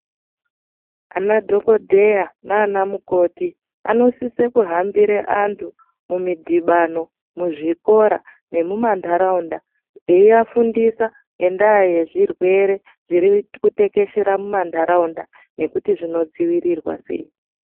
Ana dhokodheya nanamukoti anosise kuhambira antu mumidhibano muzvikora nemumantaraunda eyiafundisa ngenda yezvirwere zvirikutekeshera mumantaraunda ngekuti zvinodzivirirwa sei .